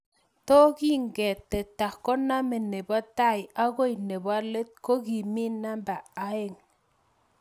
To kikitetea koname nebo tai okoi let ko kimii namba oeng